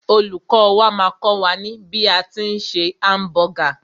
Olùkọ́ wà máà kọ́ wà ní bí a tí ń se hamburger.